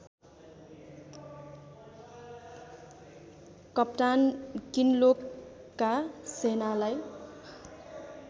कप्तान किनलोकका सेनालाई